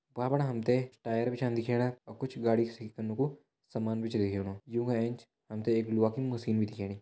भ्वाँ फणा हम त टायर भी छा दिखेणा और कुछ गाड़ी सही कनो को सामान भी छ दिखेणु यू का एंच हम त एक लोहा की मशीन भी दिखेणी।